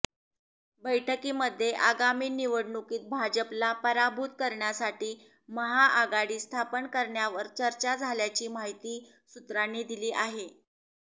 बैठकीमध्ये आगामी निवडणुकीत भाजपला पराभूत करण्यासाठी महाआघाडी स्थापन करण्यावर चर्चा झाल्याची माहिती सूत्रांनी दिली आहे